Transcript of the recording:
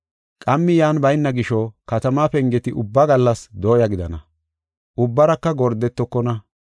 Qammi yan bayna gisho katamaa pengeti ubba gallas dooya gidana; ubbaraka gordetokona.